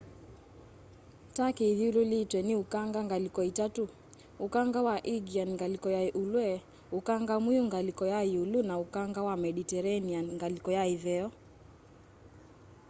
turkey ithyululitwe ni ukanga ngaliko itatu ũkanga wa aegean ngaliko ya ulwe ukanga mwiu ngaliko ya iulu na ukanga wa mediterranean ngaliko ya itheo